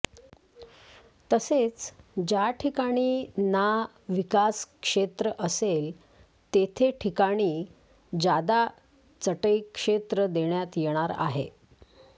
तसेच ज्या ठिकाणी ना विकास क्षेत्र असेल तेथे ठिकाणी जादा चटई क्षेत्र देण्यात येणार आहे